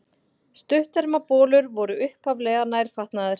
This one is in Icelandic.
Stuttermabolir voru upphaflega nærfatnaður.